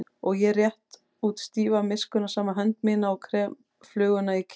Og ég rétti út stífa miskunnsama hönd mína og krem fluguna í kistunni.